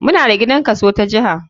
Muna da gidan kaso ta jiha.